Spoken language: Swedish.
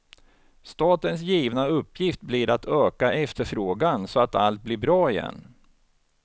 Statens givna uppgift blir att öka efterfrågan, så att allt blir bra igen.